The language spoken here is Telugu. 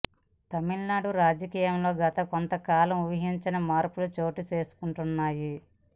తమిళనాడు రాజకీయాల్లో గత కొంత కాలంగా ఊహించని మార్పులు చోటు చేసుకుంటున్నాయి